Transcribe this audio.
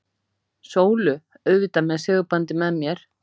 Sólu, auðvitað með segulbandið með mér.